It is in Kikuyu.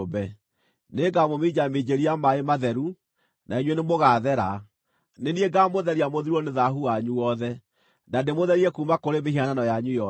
Nĩngamũminjaminjĩria maaĩ matheru, na inyuĩ nĩmũgathera; nĩ niĩ ngaamũtheria mũthirwo nĩ thaahu wanyu wothe, na ndĩmũtherie kuuma kũrĩ mĩhianano yanyu yothe.